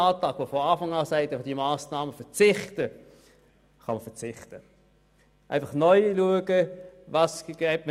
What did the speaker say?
Welche Steuereinnahmen werden wir nächstes Jahr haben?